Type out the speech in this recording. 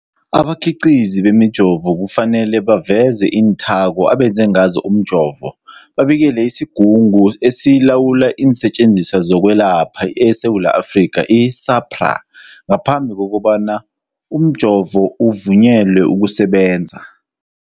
Abakhiqizi bemijovo kufanele baveze iinthako abenze ngazo umjovo, babikele isiGungu esiLawula iinSetjenziswa zokweLapha eSewula Afrika, i-SAHPRA, ngaphambi kobana umjovo uvunyelwe ukusebenza.